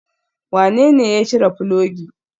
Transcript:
Wanene ya cire filogi?